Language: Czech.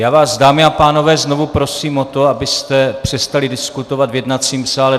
Já vás, dámy a pánové, znovu prosím o to, abyste přestali diskutovat v jednacím sále.